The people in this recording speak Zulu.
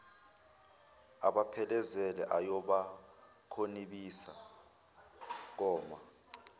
abaphelekezele ayobakhonibisa koma